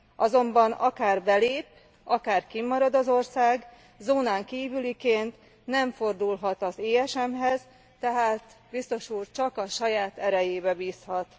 Azonban akár belép, akár kint marad az ország, zónán kívüliként nem fordulhat az ESM hez, tehát, Biztos Úr, csak a saját erejében bízhat.